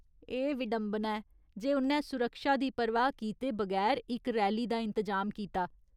एह् विडंबना ऐ जे उ'न्नै सुरक्षा दी परवाह् कीते बगैर इक रैली दा इंतजाम कीता।